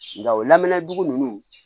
Nka o lamɛndugu ninnu